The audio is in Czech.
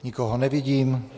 Nikoho nevidím.